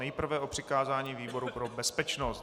Nejprve o přikázání výboru pro bezpečnost.